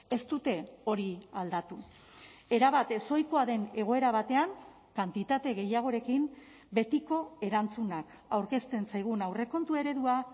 ez dute hori aldatu erabat ezohikoa den egoera batean kantitate gehiagorekin betiko erantzunak aurkezten zaigun aurrekontu eredua